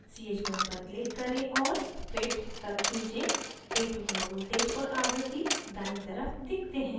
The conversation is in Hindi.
ch1 पर click करें और fit तक खींचें a2 का voltage और आवृत्ति दायीं तरफ दिखते हैं